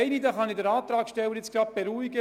Ich kann den Antragssteller beruhigen.